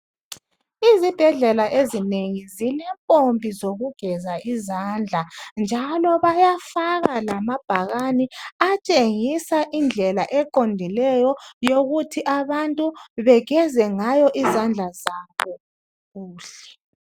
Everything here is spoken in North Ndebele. Izibhedlela ezinengi zilempompi zokugeza izandla njalo bayafaka lamabhakane atshengisa indlela eqondileyo yokuthi abantu begeza ngayo izandla zabo kuhle.